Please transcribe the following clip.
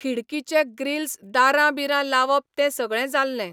खिडकीचे grills दारां बिरां लावप तें सगळें जाल्लें.